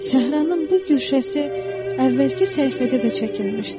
Səhranın bu güşəsi əvvəlki səhifədə də çəkilmişdir.